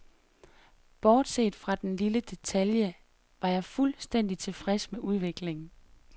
Bortset fra den lille detalje var jeg fuldstændig tilfreds med udviklingen.